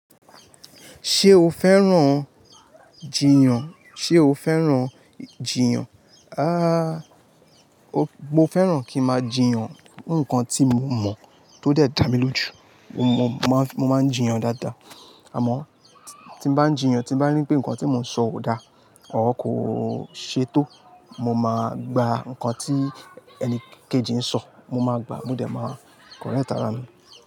Ṣé o fẹ́ràn jìyàn? Sé o fẹ́ràn jìyyàn? Ahhh, mo fẹ́ràn kí máa jìyyàn. Nǹkan tí mo mọ̀ tó dé dá mi lójú, mo man máa, mo máa jìyàn dáadáa. Àmọ́ tí bá n jìyàn tí bá rí pé nǹkan tí mo ń sọ ò dá, ọ̀rrgh kò ṣe tó. Mo máan gba nǹkan tí ẹni kejì ń sọ. Mo máa gbàá mo dé máa correct ara mi.